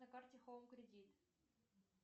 на карте хоум кредит